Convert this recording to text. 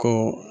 Ko